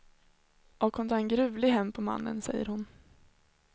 Och hon tar en gruvlig hämnd på mannen, säger hon.